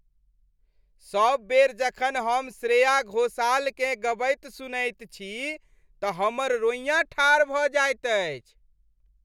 सब बेर जखन हम श्रेया घोषालकेँ गबैत सुनैत छी तँ हमर रोइयाँ ठाढ़ भऽ जाइत अछि।